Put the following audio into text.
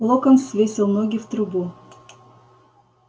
локонс свесил ноги в трубу